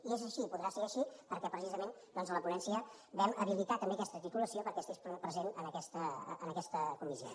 i és així i podrà ser així perquè precisament doncs a la ponència vam habilitar també aquesta titulació perquè estigués present en aquesta comissió